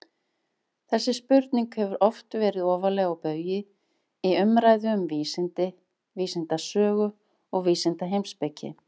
Þessi spurning hefur oft verið ofarlega á baugi í umræðu um vísindi, vísindasögu og vísindaheimspeki.